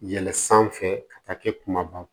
Yɛlɛn sanfɛ ka taa kɛ kumaba